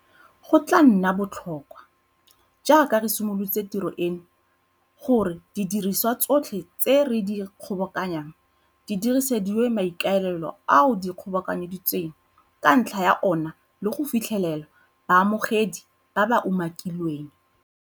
Go tla nna botlhokwa, jaaka re simolola tiro eno, gore didiriswa tsotlhe tse re di kgobokanyang di diresediwa maikaelelo ao di kgobokantsweng ka ntlha ya ona le go fitlhelela baamogedi ba ba umakilweng.